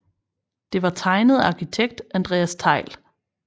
Det var tegnet af arkitekt Andreas Thejll